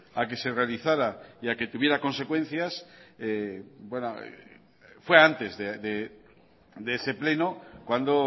a que se realizara y a que tuviera consecuencias cuando